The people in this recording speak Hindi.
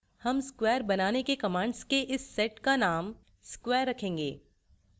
हम square बनाने के commands के इस set का name square रखेंगे